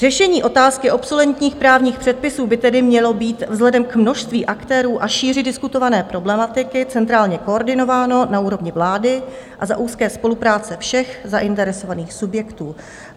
Řešení otázky obsoletních právních předpisů by tedy mělo být vzhledem k množství aktérů a šíři diskutované problematiky centrálně koordinováno na úrovni vlády a za úzké spolupráce všech zainteresovaných subjektů.